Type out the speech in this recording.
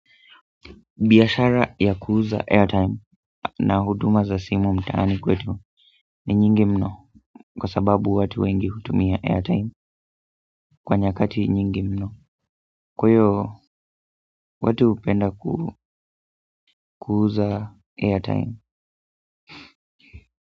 Biashara ya kuuza airtime na huduma za simu mtaani kwetu ni nyingi mno kwa sababu watu wengi hutumia airtime kwa nyakati nyingi mno kwa hio watu hupenda kuuza airtime.